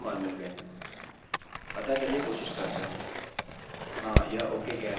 अतः चलिए कोशिश करते हैं हाँ यह ok कह रहा है